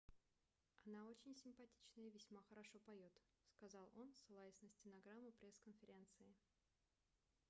она очень симпатичная и весьма хорошо поёт - сказал он ссылаясь на стенограмму пресс-конференции